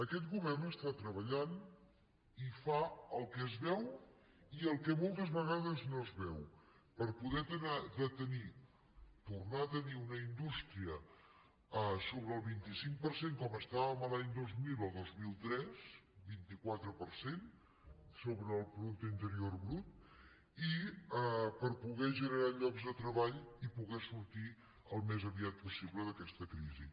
aquest govern està treballant i fa el que es veu i el que moltes vegades no es veu per poder tornar a tenir una indústria sobre el vint cinc per cent com estàvem els anys dos mil o dos mil tres vint quatre per cent sobre el producte interior brut i per poder generar llocs de treball i poder sortir al més aviat possible d’aquesta crisi